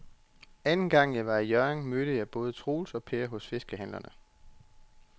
Anden gang jeg var i Hjørring, mødte jeg både Troels og Per hos fiskehandlerne.